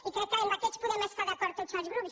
i crec que en aquests podem estar d’acord tots els grups